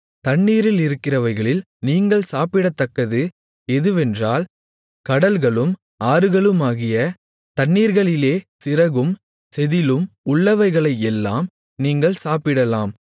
தண்ணீரிலிருக்கிறவைகளில் நீங்கள் சாப்பிடத்தக்கது எதுவென்றால் கடல்களும் ஆறுகளுமாகிய தண்ணீர்களிலே சிறகும் செதிளும் உள்ளவைகளையெல்லாம் நீங்கள் சாப்பிடலாம்